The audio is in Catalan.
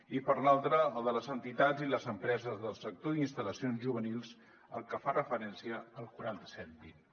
i per l’altra el de les entitats i les empreses del sector d’instal·lacions juvenils al que fa referència el quaranta set vint